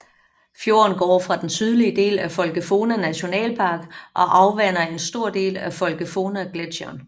Fjorden går fra den sydlige del af Folgefonna nationalpark og afvander en stor del af Folgefonna gletsjeren